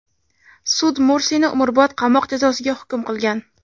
Sud Mursini umrbod qamoq jazosiga hukm qilgan.